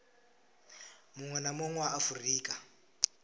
munwe na munwe wa afurika